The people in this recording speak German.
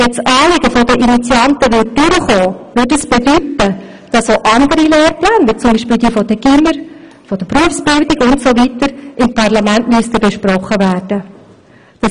Käme das Anliegen der Initianten zum Durchbruch, bedeutete dies, dass auch andere Lehrpläne wie beispielsweise jene des Gymnasiums oder der Berufsbildung im Parlament besprochen werden müssten.